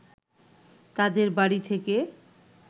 তাদের বাড়ি থেকে